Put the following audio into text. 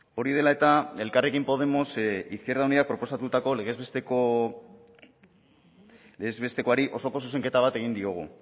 hori dela eta elkarrekin podemos izquierda unidak proposatutako legez bestekoari osoko zuzenketa bat egin diogu